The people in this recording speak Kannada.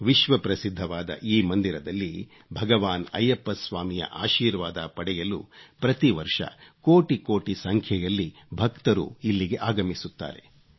ವಿಶ್ವಪ್ರಸಿದ್ಧವಾದ ಈ ಮಂದಿರದಲ್ಲಿ ಭಗವಾನ್ ಐಯ್ಯಪ್ಪ ಸ್ವಾಮಿಯ ಆಶೀರ್ವಾದ ಪಡೆಯಲು ಪ್ರತಿವರ್ಷ ಕೋಟಿ ಕೋಟಿ ಸಂಖ್ಯೆಯಲ್ಲಿ ಭಕ್ತರು ಇಲ್ಲಿಗೆ ಆಗಮಿಸುತ್ತಾರೆ